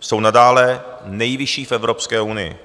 jsou nadále nejvyšší v Evropské unii.